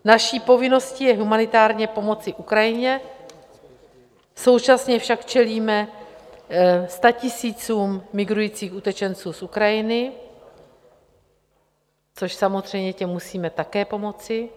Naší povinností je humanitárně pomoci Ukrajině, současně však čelíme statisícům migrujících utečenců z Ukrajiny, což samozřejmě těm musíme také pomoci.